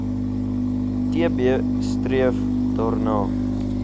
tb streef daarna